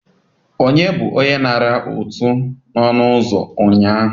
Onye bụ onye nara ụtụ n'ọnụ ụzọ ụnyaahụ?